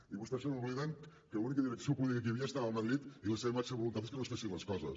i vostès se n’obliden que l’única direcció política que hi havia estava a madrid i la seva màxima voluntat era que no es fessin les coses